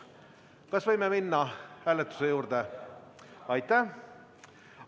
Kas võime minna hääletuse juurde?